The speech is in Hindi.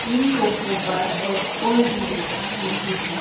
इन सोफों पर और कोई भी बैठा नहीं है।